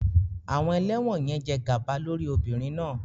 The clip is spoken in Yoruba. Àwọn ẹlẹ́wọ̀n yẹn jẹ gàba lórí obìnrin náà